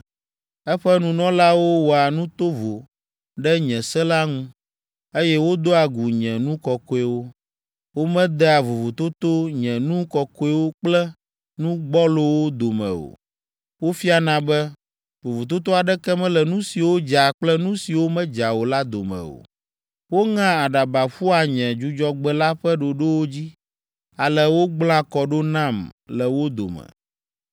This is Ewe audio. Eƒe nunɔlawo wɔa nu tovo ɖe nye se la ŋu, eye wodoa gu nye nu kɔkɔewo; womedea vovototo nye nu kɔkɔewo kple nu gbɔlowo dome o; wofiana be, vovototo aɖeke mele nu siwo dza kple nu siwo medza o la dome o. Woŋea aɖaba ƒua nye Dzudzɔgbe la ƒe ɖoɖowo dzi, ale wogblẽa kɔ ɖo nam le wo dome.